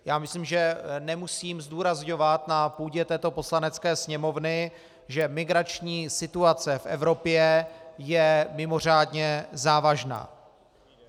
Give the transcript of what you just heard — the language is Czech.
Já myslím, že nemusím zdůrazňovat na půdě této Poslanecké sněmovny, že migrační situace v Evropě je mimořádně závažná.